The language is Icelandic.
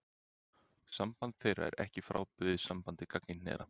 Samband þeirra er ekki frábrugðið sambandi gagnkynhneigðra.